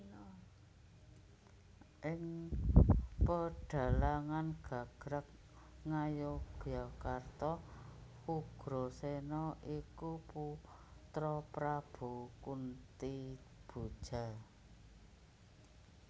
Ing pedhalangan gagrag Ngayogjakarta Ugraséna iku putra Prabu Kuntiboja